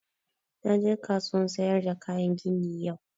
Na je kasuwan sayar da kayan gini yau